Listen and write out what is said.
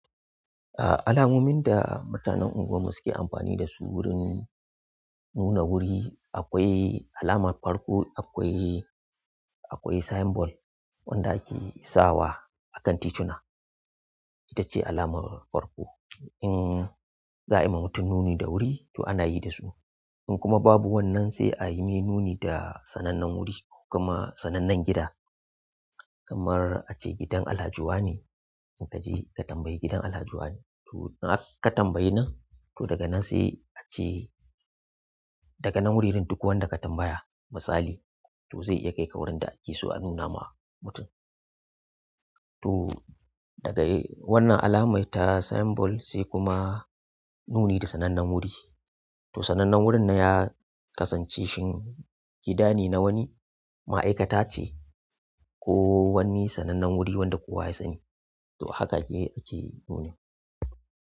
A'a, alamomin da mutanen unguwar mu suke amfani da su wurin nuna wuri akwai alamar farko akwai, akwai symbol wanda ake sawa a kan tituna. Ita ce alamar farko. In za a yi wa mutum nuni da wuri to ana yi da su. In kuma babu wannan sai a yi mai nuni da sanannen wuri ko kuma sanannen gida kamar a ce gidan Alhaji wa ne. In ka je ka tambayi gidan Alhaji wa ne, to har ka tambayi nan, to daga nan sai a ce daga nan wurorin duk wanda ka tambaya misali to zai iya kai ka wurin da ake so a nuna ma mutum. To daga wannan alamai ta symbol sai kuma nuni da sanannen wuri. To sanannen wurin nan ya kasance shin gida ne na wani ma'aikata ce ko wani sanannen wuri wanda kowa ya sani. To haka ake nuna.